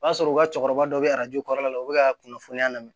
O y'a sɔrɔ u ka cɛkɔrɔba dɔ bɛ arajo kɔrɔla la u bɛ ka kunnafoniya lamɛn